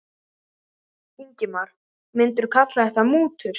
Ingimar: Myndirðu kalla þetta mútur?